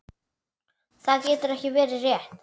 Það getur ekki verið rétt.